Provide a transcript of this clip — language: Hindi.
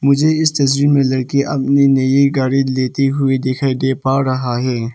मुझे इस तस्वीर में लड़की अपने नई गाड़ी लेते हुए दिखाई दे पा रहा हैं।